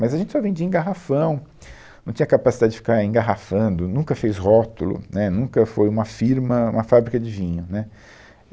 Mas a gente só vendia em garrafão, não tinha capacidade de ficar engarrafando, nunca fez rótulo, né, nunca foi uma firma, uma fábrica de vinho, né.